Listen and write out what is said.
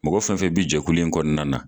Mɔgɔ fɛn fɛn bɛ jɛkulu in kɔnɔna na